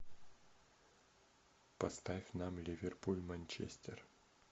поставь нам ливерпуль манчестер